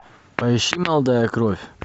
поищи молодая кровь